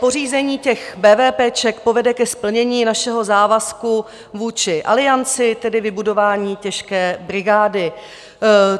Pořízení těch bévépéček povede ke splnění našeho závazku vůči Alianci, tedy vybudování těžké brigády.